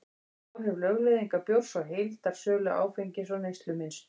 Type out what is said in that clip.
áhrif lögleiðingar bjórs á heildarsölu áfengis og neyslumynstur